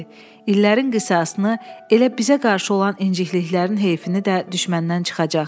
İllərin qisasını, elə bizə qarşı olan incikliklərin heyfini də düşməndən çıxacaq.